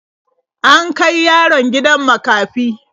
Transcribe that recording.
An kai yaron gidan makafi.